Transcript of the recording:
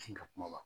Sin ka kuma wa